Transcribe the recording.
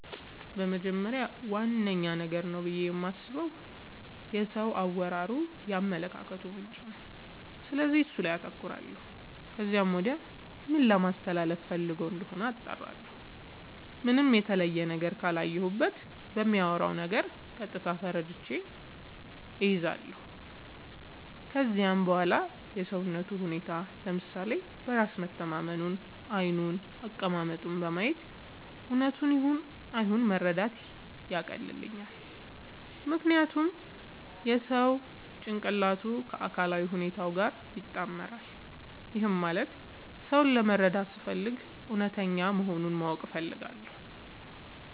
በመጀመሪያ ዋነኛ ነገር ነው ብዬ የማስበው የሰው አወራሩ የአመለካከቱ ምንጭ ነው፤ ስለዚህ እሱ ላይ አተኩራለው ከዚያም ወዲያ ምን ለማለስተላለፋ ፈልጎ እንደሆነ አጣራለሁ። ምንም የተለየ ነገር ካላየሁበት በሚያወራው ነገር ቀጥታ ተረድቼ እይዛለው። ከዚያም በዋላ የሰውነቱን ሁኔታ፤ ለምሳሌ በራስ መተማመኑን፤ ዓይኑን፤ አቀማመጡን በማየት እውነቱን ይሁን አይሁን መረዳት ያቀልልኛል። ምክንያቱም የሰው ጭንቅላቱ ከአካላዊ ሁኔታው ጋር ይጣመራል። ይህም ማለት ሰው ለመረዳት ስፈልግ እውነተኛ መሆኑን ማወቅ እፈልጋለው።